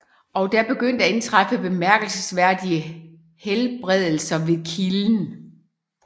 Og der begynder at indtræffe bemærkelsesværdige helbredelser ved kilden